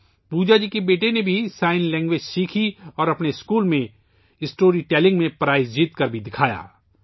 پوجا جی کے بیٹے نے بھی اشاروں کی زبان سیکھی اور اپنے اسکول میں اس نے کہانی سنانے میں انعام جیت کر بھی دکھایا